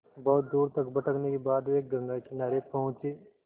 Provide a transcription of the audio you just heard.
बहुत दूर तक भटकने के बाद वे गंगा किनारे पहुँचे